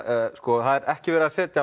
það er ekki verið að setja